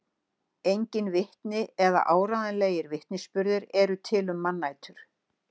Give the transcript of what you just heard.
Engin vitni eða áreiðanlegir vitnisburðir eru til um mannætur.